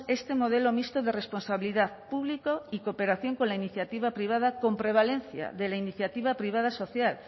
este modelo mixto de responsabilidad público y cooperación con la iniciativa privada con prevalencia de la iniciativa privada social